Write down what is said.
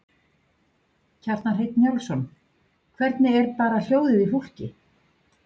Kjartan Hreinn Njálsson: Hvernig er bara hljóðið í fólki?